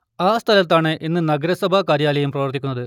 ആ സ്ഥലത്താണ് ഇന്ന് നഗരസഭാ കാര്യാലയം പ്രവർത്തിക്കുന്നത്